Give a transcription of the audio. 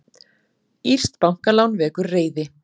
Írskt bankalán vekur reiði